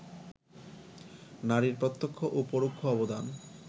নারীর প্রত্যক্ষ ও পরোক্ষ অবদান